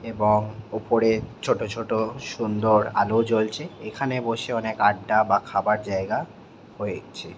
এবং উপরে ছোট ছোট সুন্দর আলো জ্বলছে। এ খানে বসে অনকে আড্ডা বা খাবার জায়গা হয়েছে ।